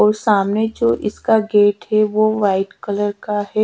और सामने जो इसका गेट है वो वाईट कलर का है।